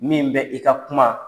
Min bɛ i ka kuma